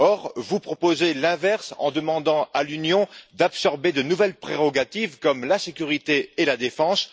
Or, vous proposez l'inverse en demandant à l'Union d'absorber de nouvelles prérogatives comme la sécurité et la défense.